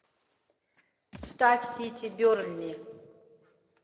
ставь сити бернли